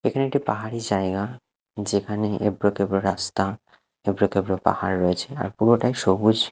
এখানে একটি পাহাড়ি জায়গা যেখানে এবড়ো খেবড়ো রাস্তা এবড়ো খেবড়ো পাহাড় রয়েছে আর পুরোটাই সবুজ।